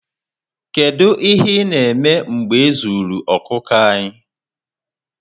Kedu ihe na eme mgbe ezuru okuku anyị?